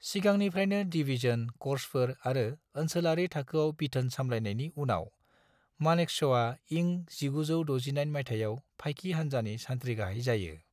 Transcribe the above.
सिगांनिफ्रायनो डिवीजन, कर्प्सफोर आरो ओनसोलारि थाखोआव बिथोन सामलायनायनि उनाव, मानेकश'आ इं1969 माइथायाव फाइकि हान्जानि सानथ्रि गाहाय जायो।